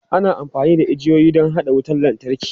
Ana amfani da igiyoyi don haɗa wutar lantarki.